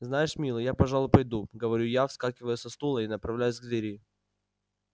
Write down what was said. знаешь милый я пожалуй пойду говорю я вскакиваю со стула и направляюсь к двери